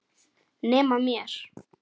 Nema mér.